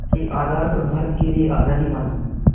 के आधार पर भारत के लिए आज़ादी मांगी